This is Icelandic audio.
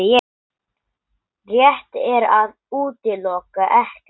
Rétt er að útiloka ekkert